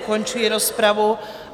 Ukončuji rozpravu.